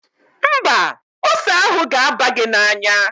Mba, ose ahụ ga-aba gị n'anya.